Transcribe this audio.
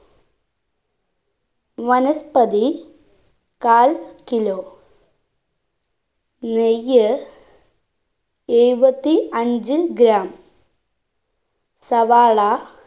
വനസ്പതി കാൽ kilo നെയ്യ് എഴുപത്തി അഞ്ച്‌ gram സവാള